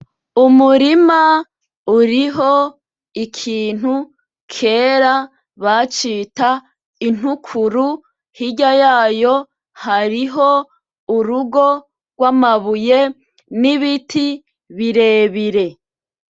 Umurima uriho ikintu kera bacita intukuru hirya yayo hariho urugo rw’amabuye n’ibiti birebire.